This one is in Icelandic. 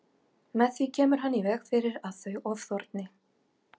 Með því kemur hann í veg fyrir að þau ofþorni.